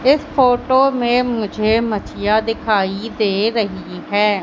इस फोटो में मुझे माछिया दिखाई दे रही हैं।